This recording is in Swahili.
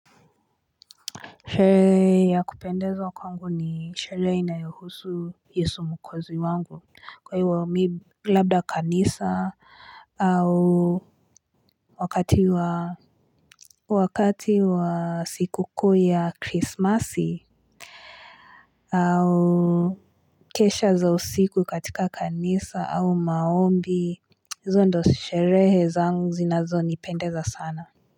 Sherehe ya kupendeza kwangu ni sherehe inayohusu yesu mwokozi wangu kwa hiwa mi Labda kanisa au wakati wa Wakati wa sikukuu ya Christmas au Kesha za usiku katika kanisa au maombi Zo ndo sherehe zangu zinazo ni pendeza sana.